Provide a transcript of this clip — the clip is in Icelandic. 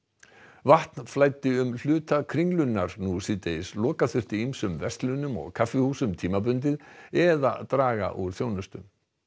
vatn flæddi um hluta Kringlunnar nú síðdegis loka þurfti ýmsum verslunum og kaffihúsum tímabundið eða draga úr þjónustu